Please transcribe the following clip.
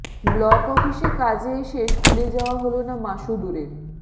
block অফিসে কাজে এসে স্কুলে যাওয়া হল না মাসুদুরের